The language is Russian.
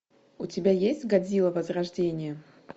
у тебя есть годзилла возрождение